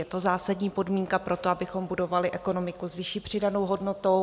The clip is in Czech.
Je to zásadní podmínka pro to, abychom budovali ekonomiku s vyšší přidanou hodnotou.